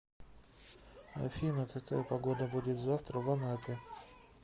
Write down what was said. афина какая погода будет завтра в анапе